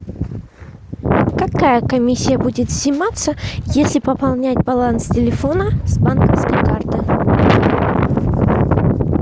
какая комиссия будет сниматься если пополнять баланс телефона с банковской карты